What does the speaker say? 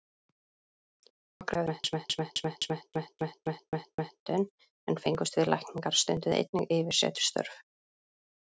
Nokkrir karlmenn sem ekki höfðu formlega læknismenntun en fengust við lækningar, stunduðu einnig yfirsetustörf.